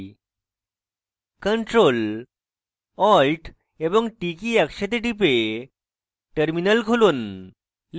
ctrl + alt এবং t key একসাথে টিপে terminal খুলুন